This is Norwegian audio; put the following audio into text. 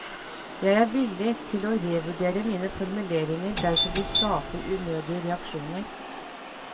Jeg er villig til å revurdere mine formuleringer dersom de skaper unødige reaksjoner.